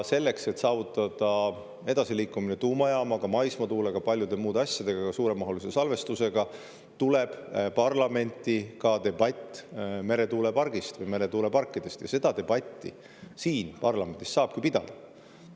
Selleks, et saavutada edasiliikumine tuumajaamaga, maismaatuule, suuremahulise salvestusega ja paljude muude asjadega, tuleb parlamenti ka debatt meretuulepargi või meretuuleparkide üle ja seda debatti siin, parlamendis, saabki pidada.